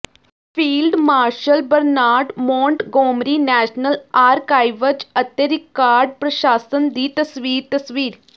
field marshal Bernard Montgomery National Archives ਅਤੇ record ਪ੍ਰਸ਼ਾਸਨ ਦੀ ਤਸਵੀਰ ਤਸਵੀਰ